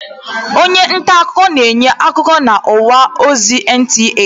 Onye ntaakụkọ na-enye akụkọ n'ọwa ozi NTA.